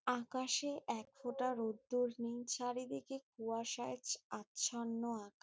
আকাশে এক ফোটা রোদ্দুর নেই। চারিদিকে কুয়াশায় ছ আচ্ছন্ন আক--